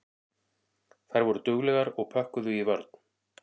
Þær voru duglegar og pökkuðu í vörn.